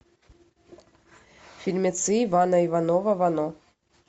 фильмецы ивана иванова вано